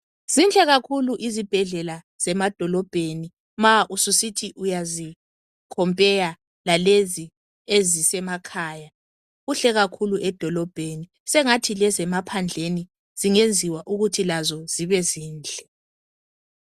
Zinhle kakhulu izibhedlela zemadolobheni ma ususithi uyazi khompeya lalezi ezisemakhaya. Kuhle kakhulu edolobheni sengathi lezemaphandleni zingenziwa ukuthi lazo zibe zinhle.